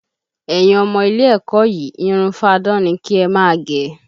Ẹyin ọmọ ilé ẹ̀kọ́ yìí, irun fáadán ni kí ẹ máa gẹ!